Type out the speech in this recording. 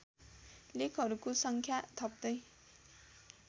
लेखहरूको सङ्ख्या थप्दै